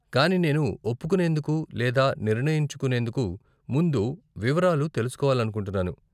కానీ, నేను ఒప్పుకునేందుకు లేదా నిర్ణయించుకునేందుకు ముందు వివరాలు తెలుసుకోవాలనుకుంటున్నాను.